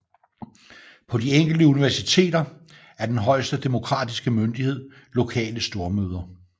På de enkelte universiteter er den højeste demokratiske myndighed lokale stormøder